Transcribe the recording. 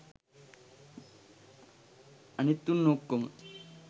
අනිත් උන් ඔක්කොම